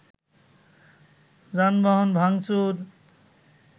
যানবাহন ভাঙচুর